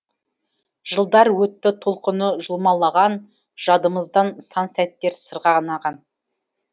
жылдар өтті толқыны жұлмалаған жадымыздан сан сәттер сырғанаған